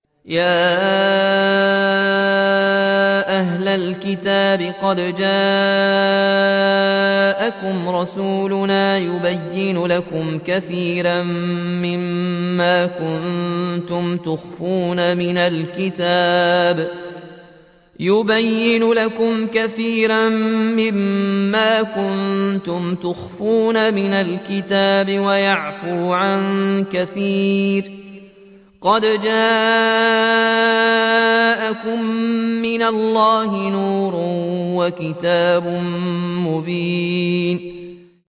يَا أَهْلَ الْكِتَابِ قَدْ جَاءَكُمْ رَسُولُنَا يُبَيِّنُ لَكُمْ كَثِيرًا مِّمَّا كُنتُمْ تُخْفُونَ مِنَ الْكِتَابِ وَيَعْفُو عَن كَثِيرٍ ۚ قَدْ جَاءَكُم مِّنَ اللَّهِ نُورٌ وَكِتَابٌ مُّبِينٌ